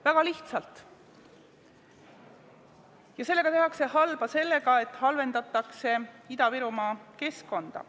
Väga lihtsalt: halba tehakse sellega, et halvendatakse Ida-Virumaa keskkonda.